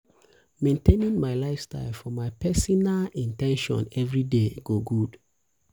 maintaining my lifestyle for my pesinal in ten tion everyday go good.